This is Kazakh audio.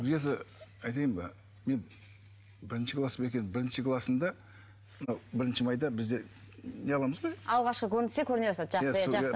айтайын ба мен бірінші класым екен бірінші класымда мынау бірінші майда бізде не аламыз ғой алғашқы жақсы иә жақсы